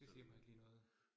Det siger mig ikke lige noget